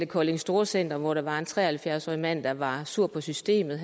kolding storcenter hvor der var en tre og halvfjerds årig mand der var sur på systemet